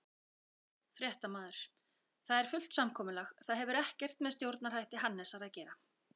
Fréttamaður: Það er fullt samkomulag, það hefur ekkert með stjórnarhætti Hannesar að gera?